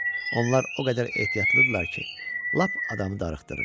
Onlar o qədər ehtiyatlıydılar ki, lap adamı darıxdırır.